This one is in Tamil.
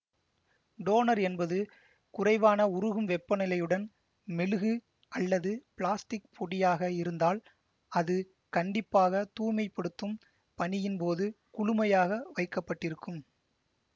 டோனர் என்பது குறைவான உருகும் வெப்பநிலையுடன் மெழுகு அல்லது பிளாஸ்டிக் பொடியாக இருந்தால் அது கண்டிப்பாக தூய்மை படுத்தும் பணியின் போது குளுமையாக வைக்க பட்டிருக்கும்